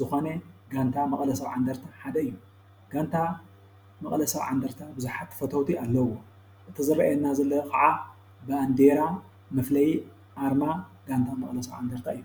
ዝኾነ ጋንታ መቐለ ሰብዓ እንድርታ ሓደ እዩ፡፡ ጋንታ መቐለ ሰብዓ እንድርታ ብዙሓት ፈተውቲ ኣለዉዎ፡፡ እቲ ዝረኣየና ዘሎ ከዓ ባንዲራ መፍለዪ ኣርማ ጋንታ መቐለ ሰብዓ እንድርታ እዩ፡፡